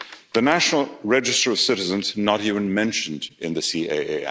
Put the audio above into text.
The National Register of Citizens is not even mentioned in the